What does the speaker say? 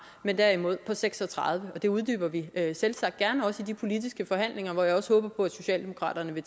men derimod på seks og tredive og det uddyber vi selvsagt gerne også i de politiske forhandlinger hvor jeg også håber på at socialdemokratiet vil